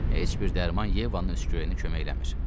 Heç bir dərman Yevanın öskürəyinə kömək eləmir.